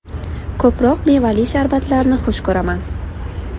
Ko‘proq mevali sharbatlarni xush ko‘raman.